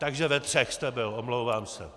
Takže ve třech jste byl, omlouvám se.